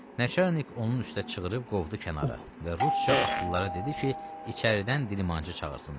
Nəçərnik onun üstə çığırıb qovdu kənara və rusca atlılara dedi ki, içəridən dilmancıyı çağırsınlar.